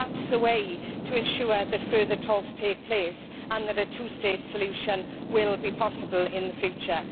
That is the way to ensure that further talks take place and that a two state solution will be possible in the future.